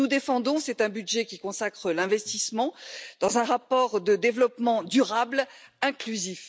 Ce que nous défendons, c'est un budget qui consacre l'investissement, dans un rapport de développement durable et inclusif.